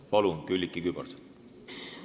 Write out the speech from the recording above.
Palun, Külliki Kübarsepp!